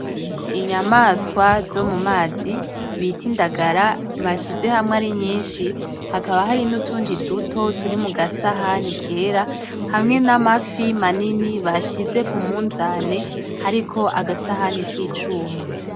Inyamaswa zo mu mazi, bita indagara bashyize hamwe ari nyinshi, hakaba hari n’utundi duto turi mu gasahani kera, hamwe n’amafi manini bashyize ku munzane hariko agasahani k’icuma.